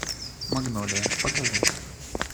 магнолия покажи